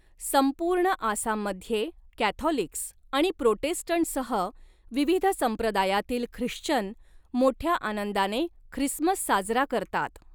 संपूर्ण आसाममध्ये कॅथॉलिक्स आणि प्रोटेस्टंट्ससह विविध संप्रदायातील ख्रिश्चन मोठ्या आनंदाने ख्रिसमस साजरा करतात.